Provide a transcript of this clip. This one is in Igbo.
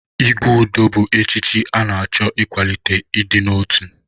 Igwe Udo bụ echichi na-achọ ịkwalite ịdị n'otu.